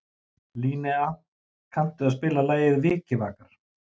Linnea, kanntu að spila lagið „Vikivakar“?